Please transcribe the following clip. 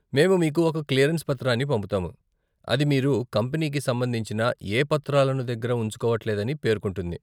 మేము మీకు ఒక క్లియరెన్స్ పత్రాన్ని పంపుతాము, అది మీరు కంపెనీకి సంబంధించిన ఏ పత్రాలను దగ్గర ఉంచుకోవట్లేదని పేర్కొంటుంది.